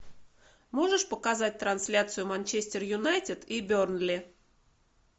можешь показать трансляцию манчестер юнайтед и бернли